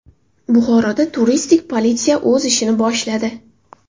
Buxoroda turistik politsiya o‘z ishini boshladi.